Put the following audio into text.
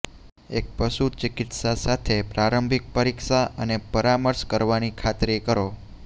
એક પશુચિકિત્સા સાથે પ્રારંભિક પરીક્ષા અને પરામર્શ કરવાની ખાતરી કરો